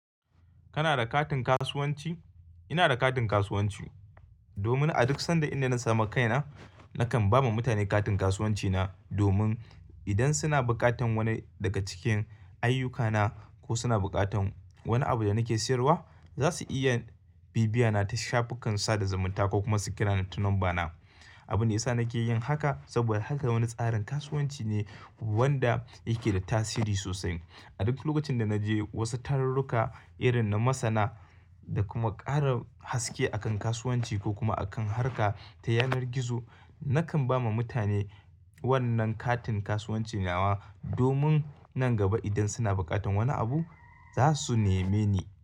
Kana da katin kasuwanci? Ina da katin kasuwanci domin a duk sanda inda na samu kaina, nakan ba ma mutane katin kasuwanci na domin idan suna bukatan wani daga cikin ayyukana ko suna bukatan wani abu da nake siyarwa, za su iya bibiyana ta shafukan sada zumunta ko kuma su kira ni ta lambana. Abunda yasa nake yin haka saboda haka wani tsarin kasuwanci ne wanda yake da tasiri sosai. A duk lokacin da na je wasu tarurruka irin na masana da kuma ƙara haske a kan kasuwanci ko kuma a kan harka ta yanar gizo, nakan ba ma mutane wannan katin kasuwanci nawa domin nan gaba idan suna bukatan wani abu, za su neme ni.